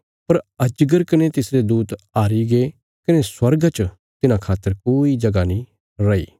पर अजगर कने तिसरे दूत हारीगे कने स्वर्गा च तिन्हां खातर कोई जगह नीं रैई